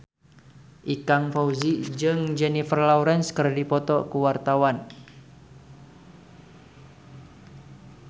Ikang Fawzi jeung Jennifer Lawrence keur dipoto ku wartawan